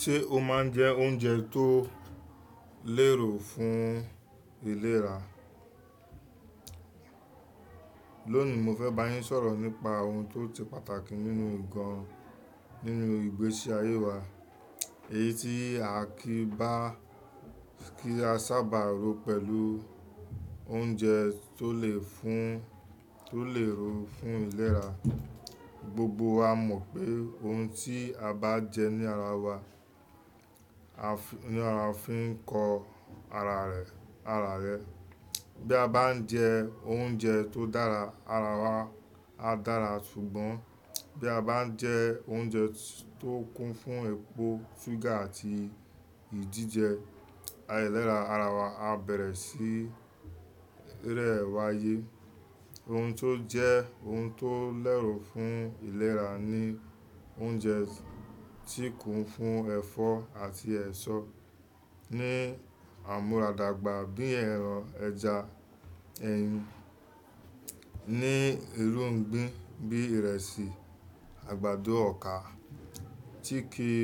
Ṣé o máa ń jẹ oúnjẹ tó lérò fún ìlera? Lónìí, mo fẹ́ bá yín sọ̀rọ̀ nípa ohun tó ti pàtàkì nínú gan nínú ìgbésí ayé wa. Èyí tí a kì í bá kí a sábà ro pẹ̀lú oúnjẹ tó le fún tó lè rùn fún ìlera. Gbogbo wa mọ̀ pé ohun tí a bá jẹ ní ara wa, ní ara fi ń kọ ara rẹ, ara rẹ. Bí a bá ń jẹ oúnjẹ tó dára, ara wa á dára ṣùgbọ́n bí a bá ń jẹ oúnjẹ tó kún fún epo, ṣúgà àti ìdíje, ẹ́ léra ara wa á bẹ̀rẹ̀ sí eré wáyé. Ohun tó jẹ́ ohun tó lẹ́ro fún ìlera ni oúnjẹ tí kún fún ẹfọ́ àti ẹṣo ni àmúradàgbà bíi ẹran, ẹja, ẹyin. Ni irùn gbín bí ìrẹsì, àgbàdo, ọkà tí kì í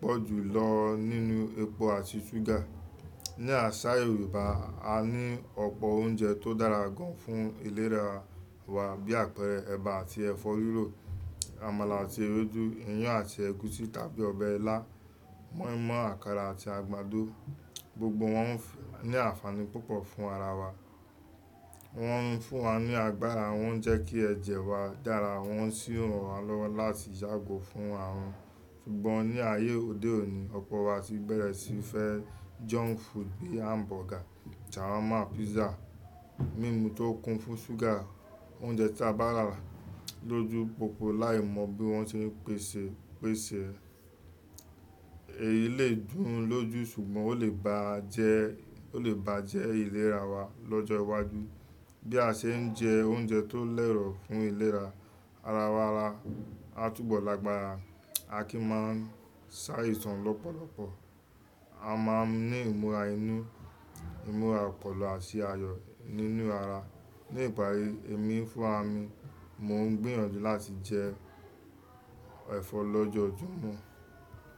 pọ̀ jù lọ nínú epo àti ṣúgà. Ni àṣà Yorùbá, a ní ọ̀pọ̀ oúnjẹ tó dára gan fún ìlera wa bí àpẹẹrẹ eba àti ẹ̀fọ́ rírò, àmàlà àti ewédú, iyán àti ẹ̀gúsí tàbí ọbẹ̀ ilá, moimoi, àkàrà àti àgbàdo. Gbogbo wọn n fun àfààní púpọ̀ fún ara wa. Wọ́n ń fún wa ní agbára, wọ́n ń jẹ́ kí ẹ̀jẹ̀ wa dára, wọ́n sì ràn wá lọ́wọ́ láti yàgò fún àrùn. Ṣùgbọ́n ní ayé òde òní, ọ̀pọ̀ wa ti bẹ̀rẹ̀ sí í fẹ́ junk food bí i hamburger, shawarma, pizza, mímu tó kún fún ṣúgà. Oúnjẹ tí a bá rà lójú pópó láì mọ bí wọ́n ṣe pèsè, pèsè. Èyí le dùn lójú ṣùgbọ́n ó lè bàra jẹ́, ó lè bà jẹ́ ìlera wa lọ́jọ́ iwájú. Bí a ṣe ń jẹ oúnjẹ tó lẹ́wùn fún ìlera, ara wa á túbọ̀ lágbára, a kì í máa ń sá ìtàn lọ́pọ̀lọpọ̀, a máa ń ní ìmúra inú, ìmúra ọpọlọ àti ayọ̀ nínú ara. Ní ìparí, èmi fún ra mi, mò ń gbìyànjú láti jẹ ẹ̀fọ́ lojo ju mo.